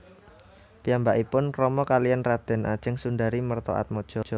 Piyambakipun krama kaliyan Raden Ajeng Sundari Mertoatmadjo